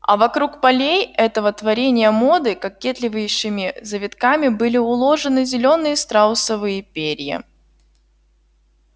а вокруг полей этого творения моды кокетливейшими завитками были уложены зелёные страусовые перья